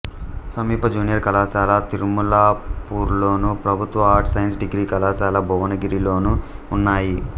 సమీప జూనియర్ కళాశాల తిరుమలాపూర్లోను ప్రభుత్వ ఆర్ట్స్ సైన్స్ డిగ్రీ కళాశాల భువనగిరిలోనూ ఉన్నాయి